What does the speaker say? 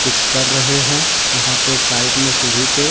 कुछ कर रहे हैं वहां पे साइड में सीढ़ी पे।